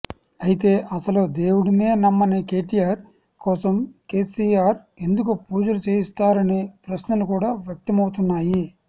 అయితే అసలు దేవుడినే నమ్మని కేటీఆర్ కోసం కేసీఆర్ ఎందుకు పూజలు చేయిస్తారన్న ప్రశ్నలు కూడా వ్యక్తమవుతున్నాయి